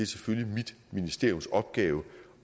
selvfølgelig mit ministeriums opgave